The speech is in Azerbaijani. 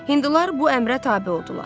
Hindular bu əmrə tabe oldular.